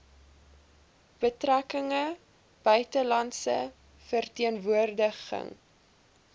betrekkinge buitelandse verteenwoordiging